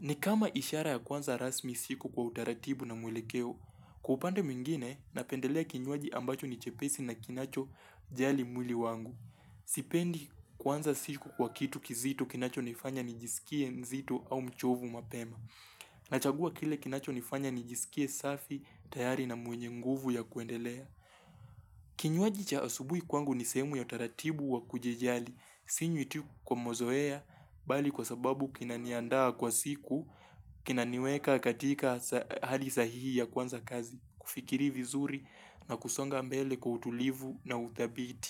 Ni kama ishara ya kuanza rasmi siku kwa utaratibu na mwelekeo. Kwa upande mwingine, napendelea kinywaji ambacho ni chepesi na kinacho jali mwili wangu. Sipendi kuanza siku kwa kitu kizito kinacho nifanya nijisikie mzito au mchovu mapema. Nachagua kile kinacho nifanya nijisikie safi tayari na mwenye nguvu ya kuendelea. Kinywaji cha asubuhi kwangu ni sehemu ya utaratibu wa kujijali Sinywi tu kwa mazoea bali kwa sababu kinaniandaa kwa siku Kinaniweka katika hali sahihi ya kuanza kazi kufikiri vizuri na kusonga mbele kwa utulivu na uthabiti.